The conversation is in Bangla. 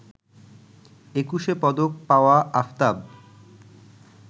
একুশে পদক পাওয়া আফতাব